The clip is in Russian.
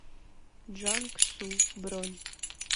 джанг су бронь